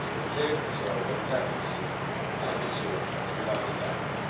Questo concerto sarà organizzato insieme alla missione sudafricana.